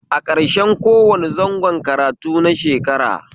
A ƙarshen kowane zangon karatu na shekara